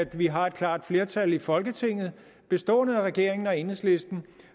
vi har et klart flertal i folketinget bestående af regeringen og enhedslisten